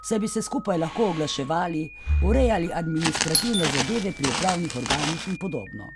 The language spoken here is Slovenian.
saj bi se skupaj lahko oglaševali, urejali administrativne zadeve pri upravnih organih in podobno.